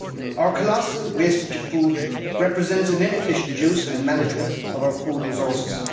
Our colossal wastage of food represents an inefficient use and management of our food resources.